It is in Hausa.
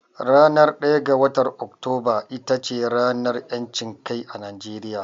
Ranar ɗaya ga watar Oktoba ita ce ranar ƴancin kai a Najeriya.